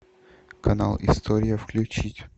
канал история включить